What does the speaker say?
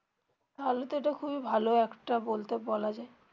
তাহলে তো এটা খুবই ভালো একটা বলতে বলা যায়